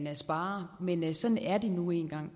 sparer men sådan er det nu engang